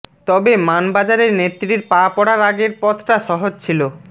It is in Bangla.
তবে মানবাজারে নেত্রীর পা পড়ার আগের পথটা সহজ ছিল